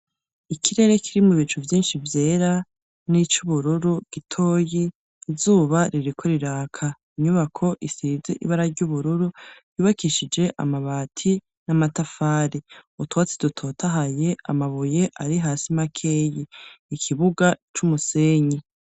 Ikirere kirimwo ibicu vyinshi vyera n'ic'ubururu gitoyi ,izuba ririko riraka ,inyubako isizi ibara ry'ubururu, yubakishije amabati n'amatafari ,utwatsi dutotahaye ,amabuye ari hasi makeyi, ikibuga c'umusenyi.